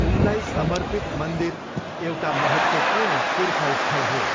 उनलाई समर्पित मन्दिर एउटा महत्त्वपूर्ण तीर्थस्थल हो।